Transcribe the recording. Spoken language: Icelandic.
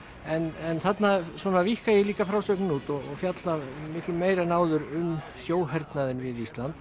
en þarna svona víkka ég líka frásögnina út og fjalla miklu meira en áður um sjóhernaðinn við Ísland